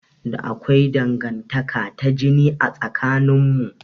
Akwai Dangantaka ta jini a tsakanin mu.